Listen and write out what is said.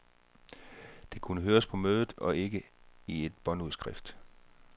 Det kunne høres på mødet og ikke i et båndudskrift.